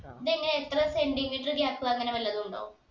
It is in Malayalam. ഇതെങ്ങനെ എത്ര centimeter gap അങ്ങനെ വല്ലതു ഉണ്ടോ